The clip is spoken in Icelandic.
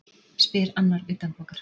spyr annar utanbókar.